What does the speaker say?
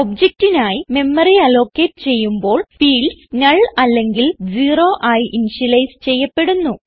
objectനായി memory allocate ചെയ്യുമ്പോൾ fields null അല്ലെങ്കിൽ zero ആയി ഇനിഷ്യലൈസ് ചെയ്യപ്പെടുന്നു